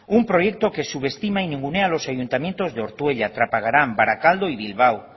un proyecto que subestima y ningunea a los ayuntamientos de ortuella trapagarán barakaldo y bilbao